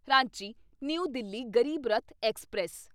Ranchi new Delhi Garib Rath express